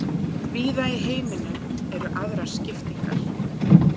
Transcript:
Víða í heiminum eru aðrar skiptingar.